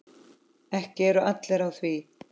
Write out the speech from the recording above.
Ekki eru allir á því.